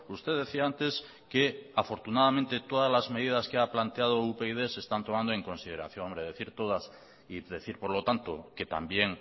usted decía antes que afortunadamente todas las medidas que ha planteado upyd se están tomando en consideración hombre decir todas y decir por lo tanto que también